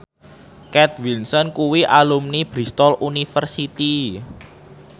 Kate Winslet kuwi alumni Bristol university